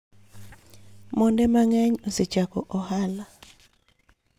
Monde mang�eny osechako ohala.